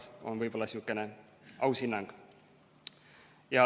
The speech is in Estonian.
See on võib-olla sihukene aus hinnang.